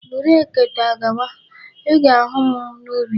Buru ekete a gawa! I ga-ahu m n'ubi.